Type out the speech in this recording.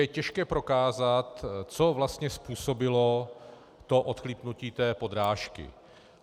Je těžké prokázat, co vlastně způsobilo to odchlípnutí té podrážky.